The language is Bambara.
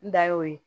N da y'o ye